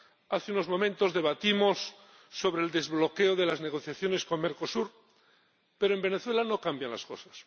hace unos momentos debatimos sobre el desbloqueo de las negociaciones con Mercosur, pero en Venezuela no cambian las cosas.